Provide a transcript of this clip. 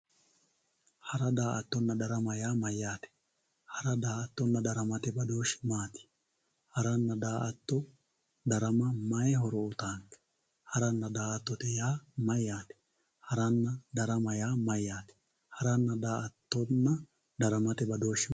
Hara daa`atana darama yaa mayate hara daa`ato daramate badooshu maati hara darama daa`aato mayi horo uyitanonke harana daa`atote yaa mayate harana darama yaa mayate harana daa`ato daramate badooshi?